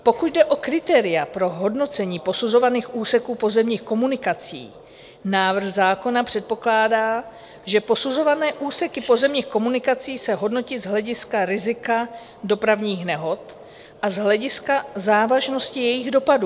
Pokud jde o kritéria pro hodnocení posuzovaných úseků pozemních komunikací, návrh zákona předpokládá, že posuzované úseky pozemních komunikací se hodnotí z hlediska rizika dopravních nehod a z hlediska závažnosti jejich dopadů.